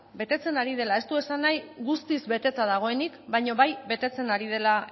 betetzen ari dela ez du esan nahi guztiz beteta dagoenik baino bai betetzen ari dela